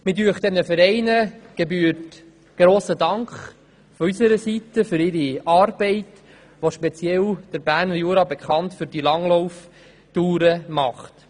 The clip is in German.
Diesen Vereinen gebührt von unserer Seite grosser Dank für ihre Arbeit, welche den Berner Jura speziell für die Langlauftouren bekannt macht.